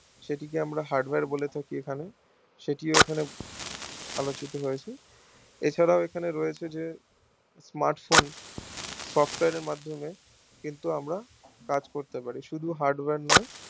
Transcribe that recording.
সেটি কে আমরা hardware বলে থাকি এখানে সেটিও এখানে আলোচিত হৈছে এছাড়া ও এখানে রয়েছে যে smartphone software এর মাধ্যমে কিন্তু আমরা কাজ করতে পারি শুধু hardware নোই